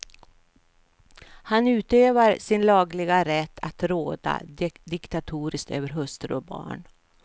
Han utövar sin lagliga rätt att råda diktatoriskt över hustru och barn.